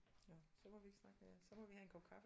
Nå så må vi ikke snakke mere så må vi have en kop kaffe